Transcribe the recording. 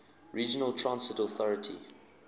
regional transit authority